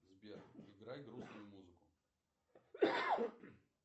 сбер играй грустную музыку